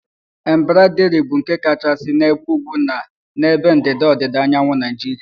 Embraderi bụ nke kachasị n'ebe ugwu na n'ebe ndịda ọdịda anyanwụ Naijiria